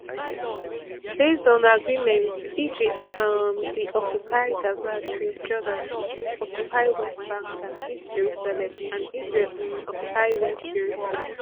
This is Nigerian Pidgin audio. based on agreements egypt um bin occupy gaza strip jordan occupy west bank and east jerusalem and israel um occupy west jerusalem